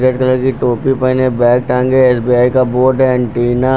red colour की टोपी पहने बाग टांगे है एस_बी_आई का बोर्ड है एंटीना --